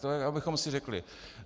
To abychom si řekli.